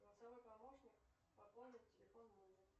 голосовой помощник пополни телефон мужа